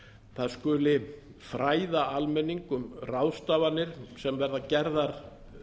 það skuli fræða almenning um ráðstafanir sem verða gerðar